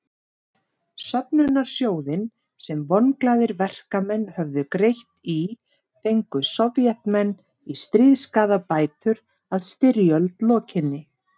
Söfnunarsjóðinn sem vonglaðir verkamenn höfðu greitt í fengu Sovétmenn í stríðsskaðabætur að styrjöld lokinni.